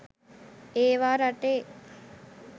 ඒවා රටේ